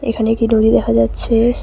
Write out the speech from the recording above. এখানে একটি নদী দেখা যাচ্ছে।